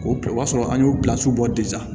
O y'a sɔrɔ an y'o bilasi bɔ